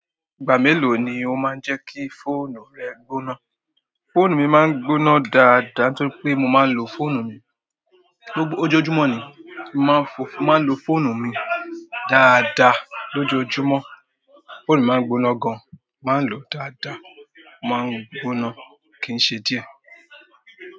Ìgbà mélòó ni o máa ń jẹ́ kí fóònù rẹ gbóná? Fóònù mi máa ń gbóná dáadáa nítorí pé mo máa ń lo fóònù mi lójoójúmọ́ ni. Mo máa ń lo fóònù mi dáadáa lójoójúmọ́. Fóònù mi máa ń gbóná gan. Mo máa ń lo dáadáa, ó máa ń gbóná kin ṣe díẹ̀.